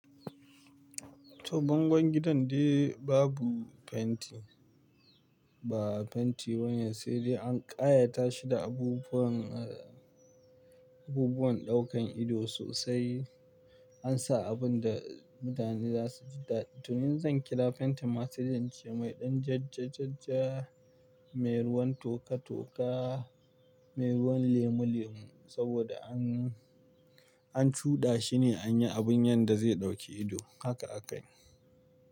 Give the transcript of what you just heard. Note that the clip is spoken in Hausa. To bangon gidan de babu fenti, ba fenti wanya sai dai an ƙayata shi da abubuwan, abubuwan ɗaukan ido sosai. An sa abun da mutane za su ji dadi. To yanzu zan kira fentin masu jince mai ɗan jajjajajja, mai ruwan toka-toka, mai ruwan lemu-lemu saboda an, an cuɗa shi ne an yi abun yanda zai ɗauki ido. Haka aka yi.